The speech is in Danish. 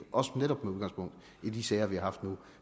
netop med udgangspunkt i de sager vi har nu